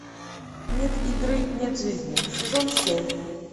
нет игры нет жизни сезон семь